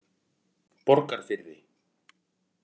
Borgarfirði